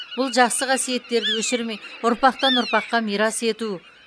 бұл жақсы қассиеттерді өшірмей ұрпақтан ұрпаққа мирас ету